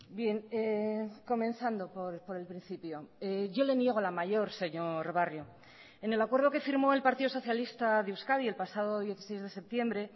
bien comenzando por el principio yo le niego la mayor señor barrio en el acuerdo que firmó el partido socialista de euskadi el pasado dieciséis de septiembre